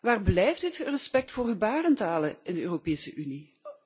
Waar blijft dit respect voor gebarentalen in de Europese Unie?